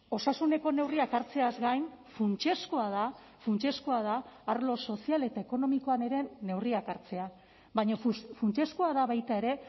osasuneko neurriak hartzeaz gain funtsezkoa da funtsezkoa da arlo sozial eta ekonomikoan ere neurriak hartzea baina funtsezkoa da baita ere